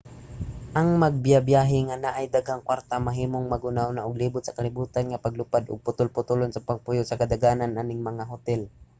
ang magbibyahe nga naay daghang kwarta mahimong maghunahuna og libot sa kalibutan nga paglupad ug putol-putolon sa pagpuyo sa kadaghanan aning mga hotel